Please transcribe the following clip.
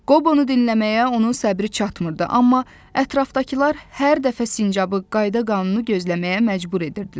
Qob onu dinləməyə onun səbri çatmırdı, amma ətrafdakılar hər dəfə sincabı qayda-qanunu gözləməyə məcbur edirdilər.